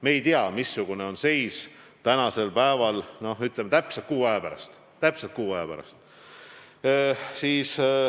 Me ei tea täna, missugune on seis, ütleme, täpselt kuu aja pärast.